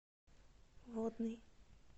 водный